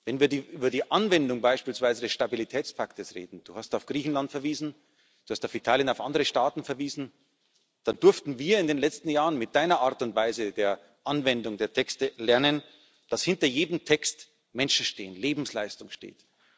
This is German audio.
Wenn wir beispielsweise über die Anwendung des Stabilitätspaktes reden Du hast auf Griechenland verwiesen, Du hast auf Italien und auf andere Staaten verwiesen Hier durften wir in den letzten Jahren mit Deiner Art und Weise der Anwendung der Texte lernen, dass hinter jedem Text Menschen stehen, Lebensleistung steht.